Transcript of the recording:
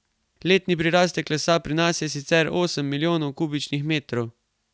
Letni prirastek lesa pri nas je sicer osem milijonov kubičnih metrov.